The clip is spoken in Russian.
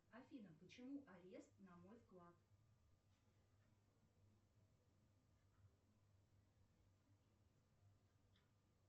афина почему арест на мой вклад